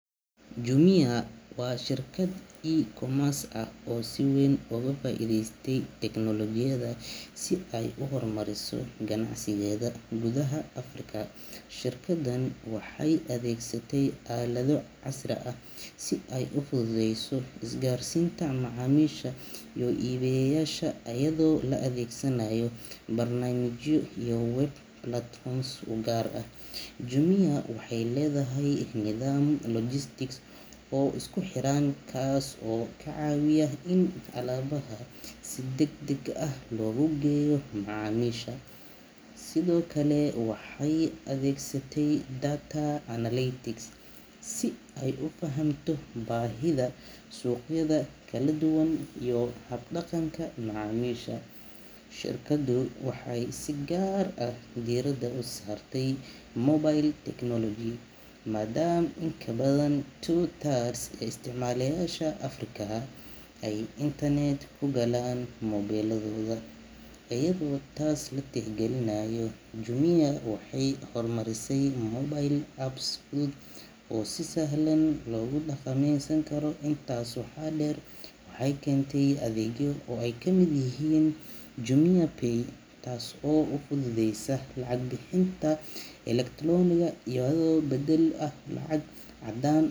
Jumia waa shirkad e-commerce ah oo si weyn uga faa’iidaysatay teknolojiyadda si ay u hormariso ganacsigeeda gudaha Afrika. Shirkaddan waxay adeegsatay aalado casri ah si ay u fududeyso isgaarsiinta macaamiisha iyo iibiyeyaasha, iyadoo la adeegsanayo barnaamijyo iyo web platforms u gaar ah. Jumia waxay leedahay nidaam logistics oo isku xiran, kaas oo ka caawiya in alaabaha si degdeg ah loogu geeyo macaamiisha. Sidoo kale, waxay adeegsatay data analytics si ay u fahamto baahida suuqyada kala duwan iyo habdhaqanka macaamiisha. Shirkaddu waxay si gaar ah diiradda u saartay mobile technology, maadaama in ka badan two thirds ee isticmaaleyaasha Afrika ay internet-ka ku galaan moobilladooda. Iyadoo taas la tixgelinayo, Jumia waxay horumarisay mobile apps fudud oo si sahlan loogu dukaameysan karo. Intaas waxaa dheer, waxay keentay adeegyo ay ka mid yihiin JumiaPay, taas oo fududeysa lacag bixinta elektaroonigga ah, iyadoo beddel u ah lacag caddaan.